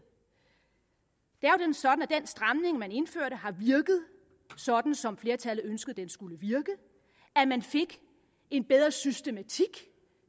er jo nemlig sådan at den stramning man indførte har virket sådan som flertallet ønskede at den skulle virke at man fik en bedre systematik